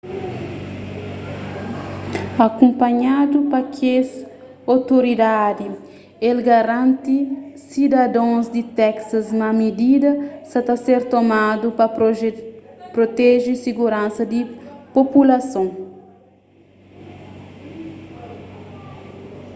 akunpanhadu pa kes otoridadi el garanti sidadons di texas ma midida sa ta ser tomadu pa proteje siguransa di populason